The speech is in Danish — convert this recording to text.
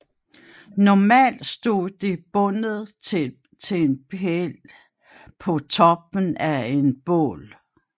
Normalt stod det bundet til en pæl på toppen af et bål